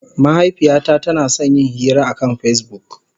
Mahaifiyata tana son yin hira akan Facebook.